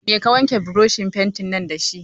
Mai ka wanke burushin fentin dashi?